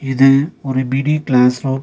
இது ஒரு mini classroom .